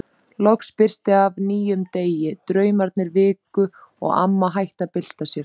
Loks birti af nýjum degi, draumarnir viku og amma hætti að bylta sér.